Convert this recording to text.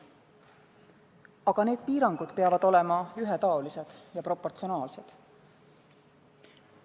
Aga need piirangud peavad olema ühetaolised ja proportsionaalsed.